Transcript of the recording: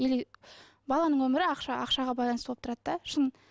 или баланың өмірі ақшаға байланысты болып тұрады да шын